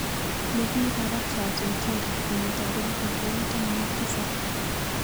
Ne ki barakchat eng tyendo kenyitap elbut aeng taman ak tisap.